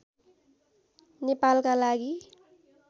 नेपालका लागि